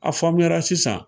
A faamuyala sisan.